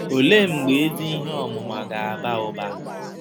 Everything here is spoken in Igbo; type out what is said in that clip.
Olee mgbe ezi ihe ọmụma ga-aba ụba?